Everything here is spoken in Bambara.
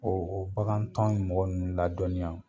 O o o bagan tɔn in mɔgɔ ninnu ladɔnya